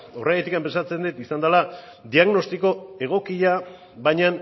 horregatik pentsatzen dut izan dela diagnostiko egokia baina